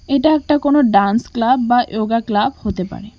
এটা একটা কোন ডান্স ক্লাব বা য়োগা ক্লাব হতে পারে।